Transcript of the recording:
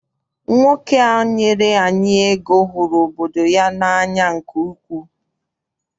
Nwoke a nyere anyị ego hụrụ obodo ya n'anya nke ukwuu.